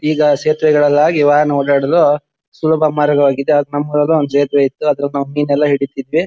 ಈಗ ಸೇತುವೆಗಳಲ್ಲ ಆಗಿ ವಾಹನ ಓಡಾಡಲು ಸುಲಭ ಮಾರ್ಗವಾಗಿದೆ ನಮ್ಮೂರಲ್ಲು ಒಂದ್ ಸೇತ್ವೇ ಇತ್ತುಅದ್ರಲ್ ನಮ್ ಮೀನೆಲ್ಲ ಹಿಡಿತಿದ್ವಿ .